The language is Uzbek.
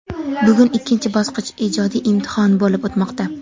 Bugun ikkinchi bosqich – ijodiy imtihon (suhbat) bo‘lib o‘tmoqda.